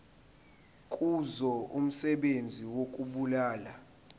kuzo umsebenzi wokubulala